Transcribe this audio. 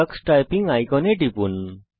tax typing আইকনে টিপুন